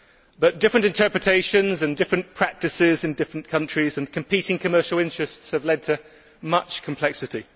But different interpretations and different practices in different countries and competing commercial interests have led to much complexity.